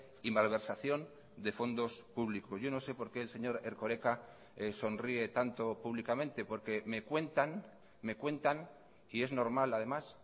y malversación de fondos públicos yo no sé por qué el señor erkoreka sonríe tanto públicamente porque me cuentan me cuentan y es normal además